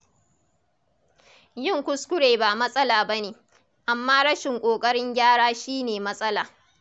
Yin kuskure ba matsala ba ne, amma rashin ƙoƙarin gyara shi ne matsala.